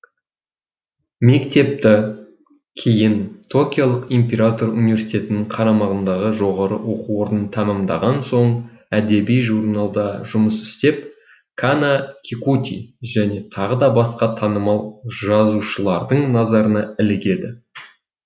мектепті кейін токиолық император университетінің қарамағындағы жоғары оқу орнын тәмамдаған соң әдеби журналда жұмыс істеп кана кикути және тағы да басқа танымал жазушылардың назарына ілігеді